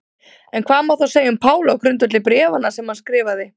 En hvað má þá segja um Pál á grundvelli bréfanna sem hann skrifaði?